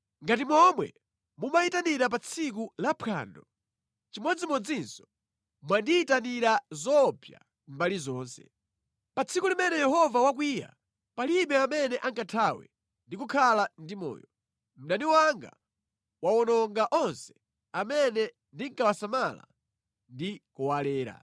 Ngati momwe mumayitanira pa tsiku la phwando, chimodzimodzinso mwandiyitanira zoopsa mbali zonse. Pa tsiku limene Yehova wakwiya palibe amene angathawe ndi kukhala ndi moyo; mdani wanga wawononga onse amene ndinkawasamala ndi kuwalera.